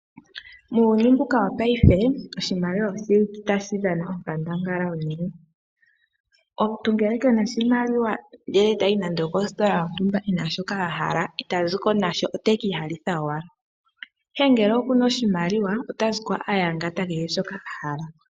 Muuyuni mbuka wo payife oshimaliwa oshili tashi dhana onkandangala unene. Omuntu ngele kena oshimaliwa ndee otayi nando okositola yontumba ena shoka ahala ita ziko nasho oteki ihalitha owala, ihe ngele okuna oshimaliwa ota ziko ayangata kehe shoka ahala.